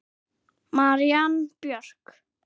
Marín Björk.